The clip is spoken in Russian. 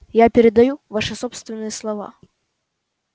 я передаю ваши собственные слова